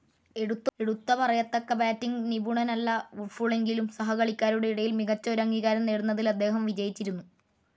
എടുത്ത പറയത്തക്ക ബാറ്റിങ്‌ നിപുണനല്ല വുഡ്ഫുളെങ്കിലും സഹകളിക്കാരുടെ ഇടയിൽ മികച്ച ഒരു അംഗീകാരം നേടുന്നതിൽ അദ്ദേഹം വിജയിച്ചിരുന്നു.